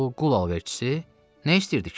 O qul alverçisi nə istəyirdi ki?